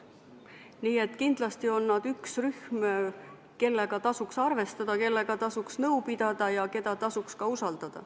Nii et kindlasti on nad üks rühm, kellega tasuks arvestada, kellega tasuks nõu pidada ja keda tasuks ka usaldada.